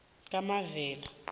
kamavela